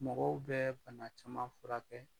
Mɔgɔw bɛ bana caman furakɛ